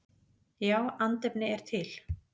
Já, andefni er til.